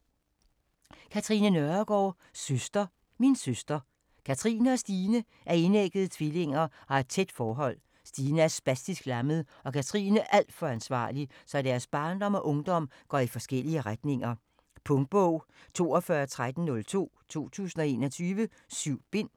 Nørregaard, Katrine: Søster, min søster Katrine og Stine er enæggede tvillinger og har et tæt forhold. Stine er spastisk lammet og Katrine alt for ansvarlig, så deres barndom og ungdom går i forskellige retninger. Punktbog 421302 2021. 7 bind.